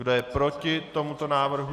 Kdo je proti tomuto návrhu?